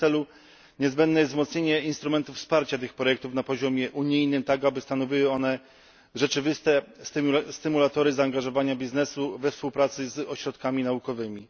W tym celu niezbędnie jest wzmocnienie instrumentu wsparcia tych projektów na poziomie unijnym, tak aby stanowiły one rzeczywiste stymulatory zaangażowania biznesu we współpracy z ośrodkami naukowymi.